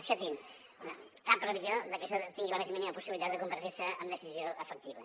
escoltin cap previsió de que això tingui la més mínima possibilitat de convertir se en decisió efectiva